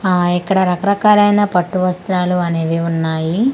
ఆ ఇక్కడ రకరకాలైన పట్టు వస్త్రాలు అనేవి ఉన్నాయి.